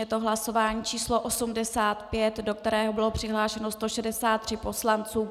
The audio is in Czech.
Je to hlasování číslo 85, do kterého bylo přihlášeno 163 poslanců.